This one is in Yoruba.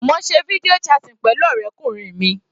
Mo se video chatting pẹ̀lú ọ̀rẹ́kùnrin mi.